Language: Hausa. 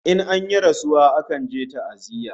In an yi rasuwa akan je ta'aziyya